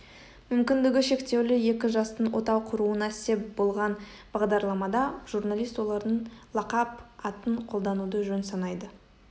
мүмкіндігі шектеулі екі жастың отау құруына сеп болған бағдарламада журналист олардың лақап атын қолдануды жөн санайды